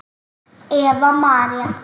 Eva María.